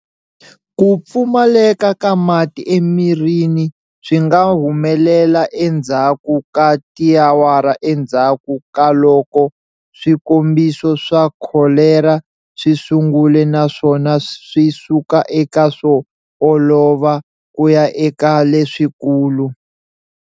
Ku pfumaleka ka mati emirini swinga humelela endzhaku ka tiawara endzhaku kaloko swikombiso swa kholera swisungule naswona swisuka eka swo olova kuya eka leswikulu.